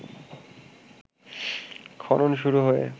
খনন শুরু হয়ে